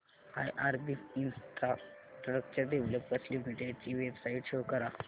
IRB infrastructure developers limited ची website show करा